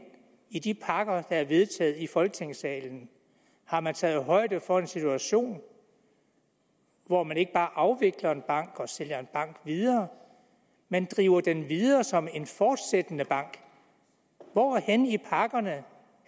i de pakker der er vedtaget i folketingssalen har man taget højde for en situation hvor man ikke bare afvikler en bank og sælger en bank videre men driver den videre som en fortsættende bank hvor henne i pakkerne